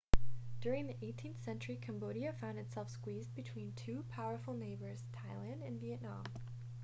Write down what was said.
during the 18th century cambodia found itself squeezed between two powerful neighbors thailand and vietnam